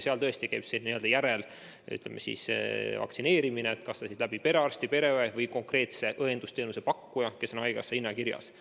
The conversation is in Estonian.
Sellisel juhul tõesti toimub n-ö järelvaktsineerimine kas läbi perearsti, pereõe või konkreetse õendusteenuse pakkuja, kes on haigekassa hinnakirjas.